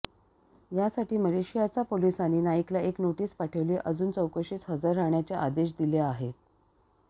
यासाठी मलेशियाच्या पोलिसांनी नाईकला एक नोटीस पाठवली असून चौकशीस हजर राहण्याचे आदेश दिले आहेत